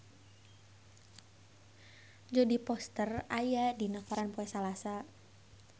Jodie Foster aya dina koran poe Salasa